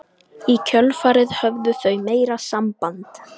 Í kjölfarið höfðu þau meira samband